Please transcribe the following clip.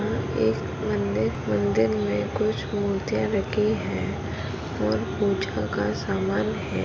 एक मंदिर मंदिर में कुछ मूर्तिया रखी है। और पुजा का सामान हैं।